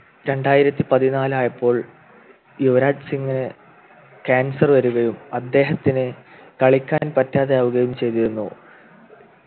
രണ്ടായിരത്തി പതിനാല് ആയപ്പോൾ യുവരാജ് സിംഗ് Cancer വരികയും അദ്ദേഹത്തിന് കളിക്കാൻ പറ്റാതെ ആവുകയും ചെയ്തിരുന്നു